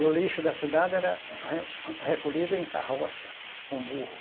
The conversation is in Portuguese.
E o lixo da cidade era re recolhido em carroça, com burro.